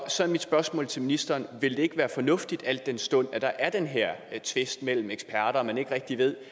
så mit spørgsmål til ministeren vil det ikke være fornuftigt al den stund at der er den her tvist mellem eksperterne og man ikke rigtig ved